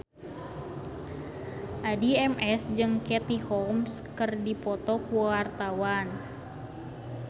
Addie MS jeung Katie Holmes keur dipoto ku wartawan